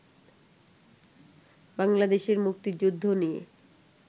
বাংলাদেশের মুক্তিযুদ্ধ নিয়ে